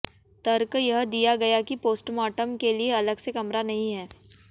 तर्क यह दिया गया कि पोस्टमार्टम के लिए अलग से कमरा नहीं है